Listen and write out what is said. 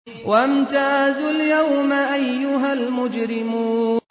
وَامْتَازُوا الْيَوْمَ أَيُّهَا الْمُجْرِمُونَ